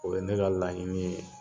O ye ne ka laɲini ye